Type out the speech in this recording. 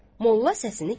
Molla səsini kəsdi.